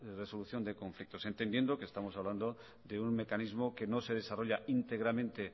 resolución de conflictos entendiendo que estamos hablando de un mecanismo que no se desarrolla íntegramente